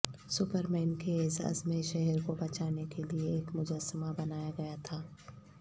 Superman کے اعزاز میں شہر کو بچانے کے لئے ایک مجسمہ بنایا گیا تھا